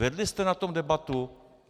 Vedli jste o tom debatu?